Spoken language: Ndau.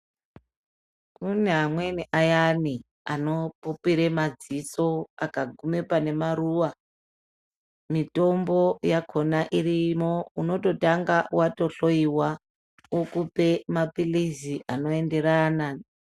Kune amweni ayani anopupira madziso akagume pane maruwa, mitombo yakhona iriyo unototanga wahloiwa ukupe mapilizi anoenderana.